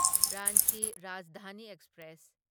Ranchi Rajdhani express